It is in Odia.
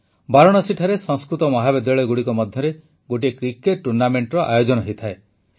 ବାରାଣସୀଠାରେ ସଂସ୍କୃତ ମହାବିଦ୍ୟାଳୟଗୁଡ଼ିକ ମଧ୍ୟରେ ଗୋଟିଏ କ୍ରିକେଟ ଟୁର୍ଣ୍ଣାମେଂଟର ଆୟୋଜନ ହୋଇଥାଏ